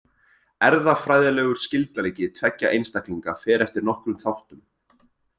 Erfðafræðilegur skyldleiki tveggja einstaklinga fer eftir nokkrum þáttum.